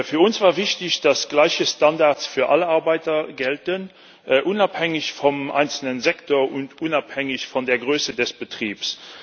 Für uns war wichtig, dass gleiche Standards für alle Beschäftigten gelten unabhängig vom einzelnen Sektor und unabhängig von der Größe des Betriebs.